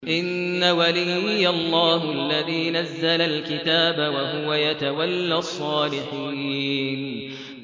إِنَّ وَلِيِّيَ اللَّهُ الَّذِي نَزَّلَ الْكِتَابَ ۖ وَهُوَ يَتَوَلَّى الصَّالِحِينَ